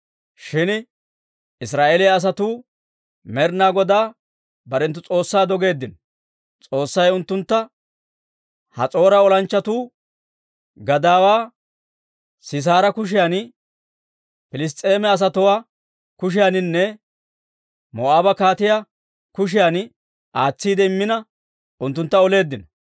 «Shin Israa'eeliyaa asatuu Med'inaa Godaa barenttu S'oossaa dogeeddino; S'oossay unttuntta Has'oora olanchchatuu gadaawaa Siisaara kushiyan, Piliss's'eema asatuwaa kushiyaaninne Moo'aabe kaatiyaa kushiyan aatsiide immina unttuntta oleeddino.